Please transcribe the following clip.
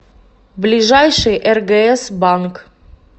ближайший ргс банк